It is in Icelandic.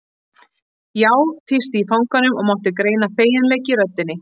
Já, tísti í fanganum og mátti greina feginleik í röddinni.